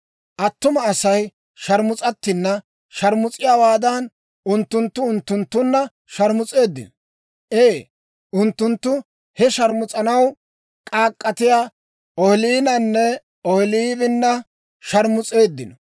Attuma Asay sharmus'attinna sharmus'iyaawaadan, unttunttu unttunttunna sharmus'eeddino. Ee, unttunttu he sharmus'anaw k'aak'k'atiyaa Ohooliinanne Ohooliibina sharmus'eeddino.